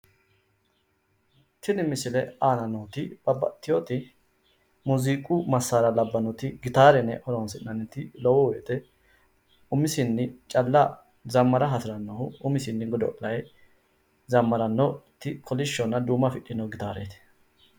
Tini misilete aana nooti gitaarete yinanniti huuro uyitannote su'mase gitaaret yine woshinanni